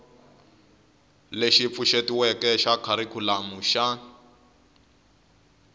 lexi pfuxetiweke xa kharikhulamu xa